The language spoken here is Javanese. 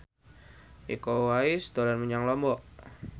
Iko Uwais dolan menyang Lombok